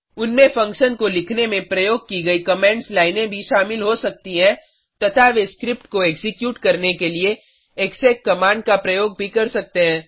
उनमें फंक्शन को लिखने में प्रयोग की गयी कमेंट्स लाइनें भी शामिल हो सकती हैं तथा वे स्क्रिप्ट को एक्जीक्यूट करने के लिए एक्सेक कमांड का प्रयोग भी कर सकते हैं